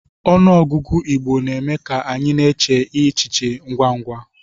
Ọnụọgụgụ Igbo na-eme ka anyị chee e echiche ngwa ngwa.